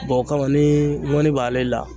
o kama ni ŋɔni b'ale la